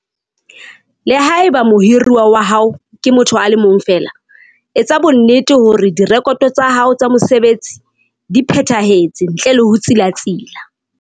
Le ha eba mohiruwa wa hao ke motho a le mong feela, etsa bonnete hore direkoto tsa hao tsa mosebetsi di phethahetse ntle le ho tsilatsila.